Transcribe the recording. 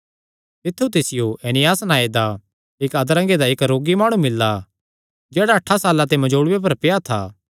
तित्थु तिसियो एनियास नांऐ दा इक्क अधरंगे दा इक्क रोगी माणु मिल्ला जेह्ड़ा अठां साल्लां ते मंजोल़ूये पर पेआ था